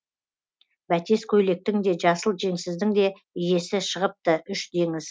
бәтес көйлектің де жасыл жеңсіздің де иесі шығыпты үш деңіз